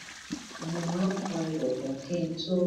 mo máa n kan ilèkùn kí n tó